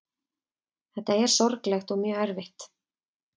Þetta er sorglegt og mjög erfitt